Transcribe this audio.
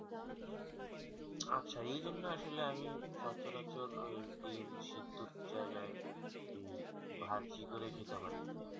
আচ্ছা এই জন্য আসলে আমি সচলাচল ওই ডিম্ সিদ্দ ওর জায়গায় ওই ভাজি করে খেতে আমার